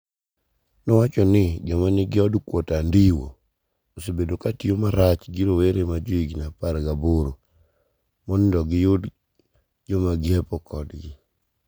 nowacho nii, joma niigi od kuoto anidiwi osebedo ka tiyo marach gi rowere ma johiginii apar gaboro monido giyud joma nig'iepo kodgi.